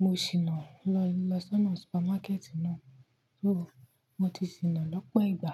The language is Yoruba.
Mo sì na lọ lọ sọ́nà súpermákẹ́ẹ̀tì náà. Yóò mo ti sìnà lọ́pọ̀ ìgbà.